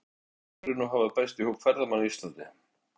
En skyldu geimverur nú hafa bæst í hóp ferðamanna á Íslandi?